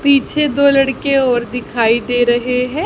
पीछे दो लड़के और दिखाई दे रहे हैं।